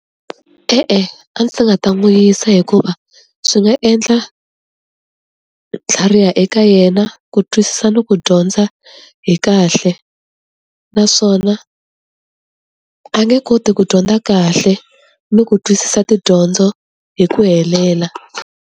E-e, a ndzi nga ta n'wi yisa hikuva swi nga endla tlhariha eka yena ku twisisa ni ku dyondza hi kahle. Naswona a nge koti ku dyondza kahle ni ku twisisa tidyondzo hi ku helela.